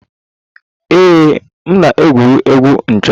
Ee m na-egwuri egwu 'ncho'